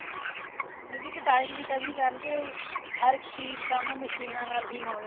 ਮਤਲਬ ਕੀ ਇੱਕ time ਦੀ ਕਮੀ ਕਰਕੇ ਹਰ ਇੱਕ ਚੀਜ਼ ਕੰਮ ਮਸ਼ੀਨਾ ਨਾਲ ਹੀ ਹੋਣ